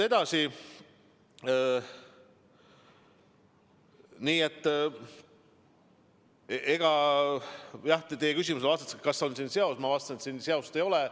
Nii et teie küsimusele, kas on siin seost, ma vastasin, et seost ei ole.